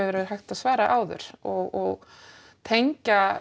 verið hægt að svara áður og tengja